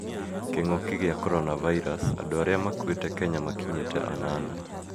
Kĩngũki kĩa coronavirus:Andũ arĩa makũite Kenya makinyite anana